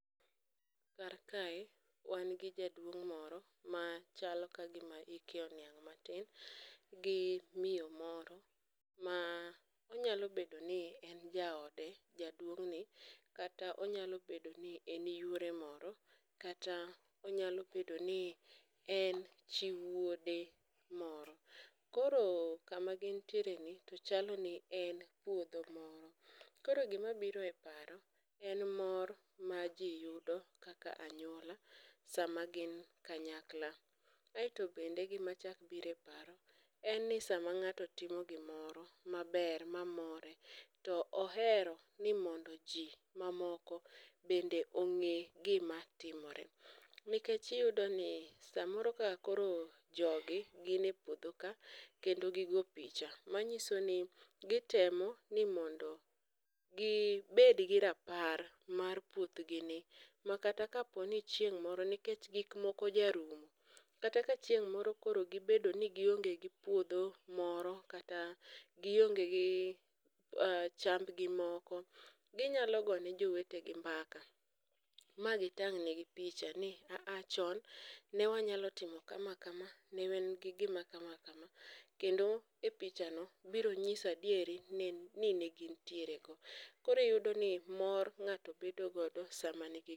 kar kae wan gi jaduong' moro machalo ka gima hike oniang' matin gi miyo moro onyalo bedo ni en jaode jaduong' ni kata onyalo bedo ni en yuore moro kata onyalo bedo ni en chi wuode moro, koro kama gintiere ni chalo ni en puodho moro ,koro gima biro e paro en mor maji yudo kaka anyuola sama gin kanyakla .ae to bende gima chak biro e paro en ni sama ng'ato timo gimoro maber mamore to ohero ni mondo ji mamoko bende ong'e gima timore, nikech iyudo ni samoro kaka koro jogi gin e puodho ka kendo gi go picha ,manyiso ni gitemo ni mondo gi bed gi rapar mar puoth gi ni makata kaponi chieng' moro nikech gik moko jarumo, kata ka chieng moro ni gi bedo ni gionge gi puodho moro kata gi chamb gi moko ginyalo gone jowete gi mbaka magi tang'ne gi picha ni a a chon ne wanyalo timo kama kama ne wan gi gima kama kama kendo e picha no biro nyiso adiera ni ne gin tiere go ,koro iyudo ni mor ng'ato bedo godo sama ni gi puodho